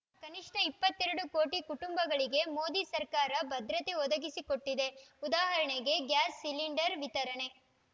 ಕನಿಷ್ಠ ಇಪ್ಪತ್ತೆರಡ ಕೋಟಿ ಕುಟುಂಬಗಳಿಗೆ ಮೋದಿ ಸರ್ಕಾರ ಭದ್ರತೆ ಒದಗಿಸಿಕೊಟ್ಟಿದೆ ಉದಾಹರಣೆಗೆ ಗ್ಯಾಸ್‌ ಸಿಲಿಂಡರ್‌ ವಿತರಣೆ